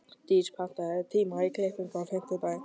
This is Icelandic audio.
Dís, pantaðu tíma í klippingu á fimmtudaginn.